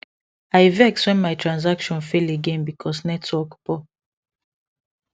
i vex when my transaction fail again because network poor